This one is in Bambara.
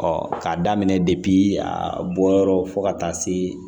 k'a daminɛ a bɔyɔrɔ fo ka taa se